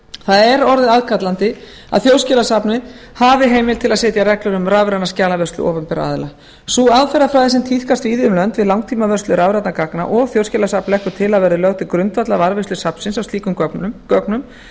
það er orðið aðkallandi að þjóðskjalasafnið hafi heimild til að setja reglur um rafræna skjalavörslu opinberra aðila sú aðferðafræði sem tíðkast víða um lönd við langtímavörslu rafrænna gagna og þjóðskjalasafn leggur til að verði lögð til grundvallar varðveislu safnsins á slíkum gögnum